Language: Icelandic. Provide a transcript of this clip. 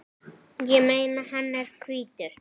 Ég meina, hann er hvítur!